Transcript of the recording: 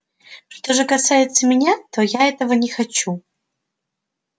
что же касается меня то я этого не хочу